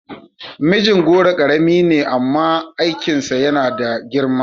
Mijingoro karami ne amma aikinsa yana da girma